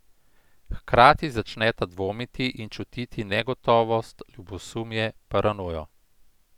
Hkrati začneta dvomiti in čutiti negotovost, ljubosumje, paranojo.